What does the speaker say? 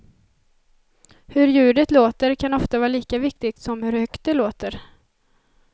Hur ljudet låter kan ofta vara lika viktigt som hur högt det låter.